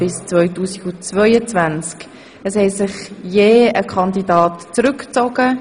Es hat sich je ein Kandidat zurückgezogen.